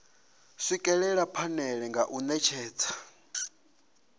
swikelela phanele nga u netshedza